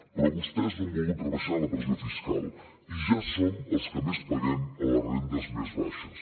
però vostès no han volgut rebaixar la pressió fiscal i ja som els que més paguem a les rendes més baixes